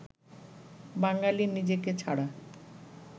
বাঙালি নিজেকে ছাড়া